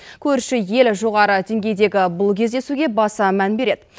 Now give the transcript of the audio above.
көрші ел жоғары деңгейдегі бұл кездесуге баса мән береді